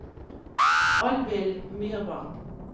Alvhild Myrvang